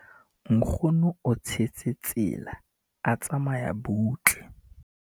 nkgono o tshetse tsela a tsamaya butle